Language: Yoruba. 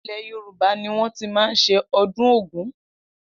Ilẹ̀ Yorùbá ni wọ́n má ti ń ṣe ọdún Ògún